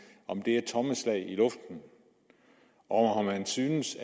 er det tomme slag i luften synes